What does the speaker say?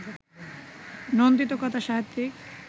নন্দিত কথাসাহিত্যিক